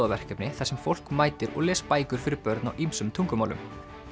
sjálfboðaverkefni þar sem fólk mætir og les bækur fyrir börn á ýmsum tungumálum